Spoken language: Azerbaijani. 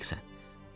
Buna layiqsən.